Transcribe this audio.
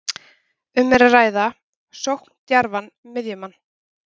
Um er að ræða sókndjarfan miðjumann.